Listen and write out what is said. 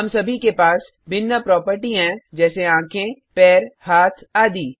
हम सभी के पास भिन्न प्रोपर्टी हैंजैसे आँखें पैर हाथ आदि